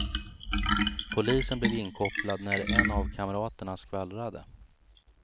Polisen blev inkopplad när en av en kamraterna skvallrade.